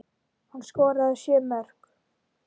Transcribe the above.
Hann skoraði sjö mörk.